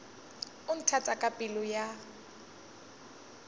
o nthata ka pelo ya